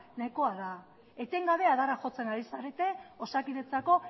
nahikoa da etengabe adarra jotzen ari zarete osakidetzako